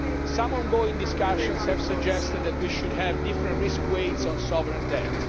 here. Some ongoing discussions have suggested that we should have different risk weights on sovereign